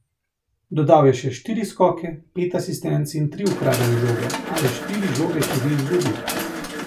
Dodal je še štiri skoke, pet asistenc in tri ukradene žoge, a je štiri žoge tudi izgubil.